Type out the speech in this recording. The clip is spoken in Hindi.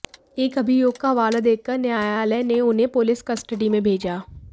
एक अभियोगका हवाला देकर न्यायालयने उन्हें पुलिस कस्टडीमें भेजा